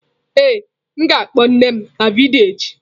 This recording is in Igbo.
Ee, m ga-akpo nne m na vidiyo echi.